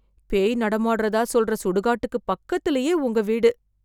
பேய் நடமாடுறதா சொல்ற சுடுகாட்டுக்கு பக்கத்திலேயே, உங்க வீடு